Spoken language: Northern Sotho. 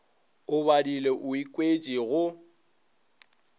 o badile o ikwetše go